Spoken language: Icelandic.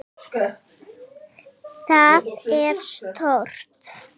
Það er stórt.